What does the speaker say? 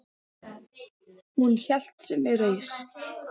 Hún hélt sinni reisn.